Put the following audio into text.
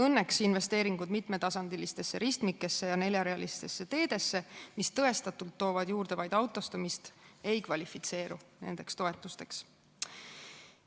Õnneks investeeringud mitmetasandilistesse ristmikesse ja neljarajalistesse teedesse, mis tõestatult toovad juurde vaid autostumist, nendeks toetusteks ei kvalifitseeru.